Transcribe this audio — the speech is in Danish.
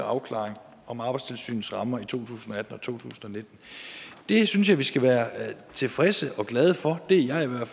afklaring om arbejdstilsynets rammer i to tusind og to tusind og nitten det synes jeg vi skal være tilfredse med og glade for det er jeg